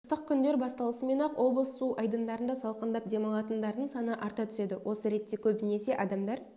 ыстық күндер басталысымен-ақ облыс су айдындарында салқындап демалатындардың саны арта түседі осы ретте көбінесе адамдар